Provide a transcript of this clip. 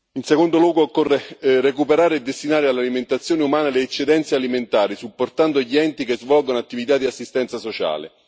In secondo luogo occorre recuperare e destinare all'alimentazione umana le eccedenze alimentari, supportando gli enti che svolgono attività di assistenza sociale.